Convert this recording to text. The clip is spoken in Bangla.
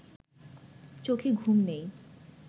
চোখে ঘুম নেই